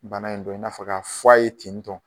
Bana in dɔn i n'a fɔ k'a fɔ a ye tentɔn.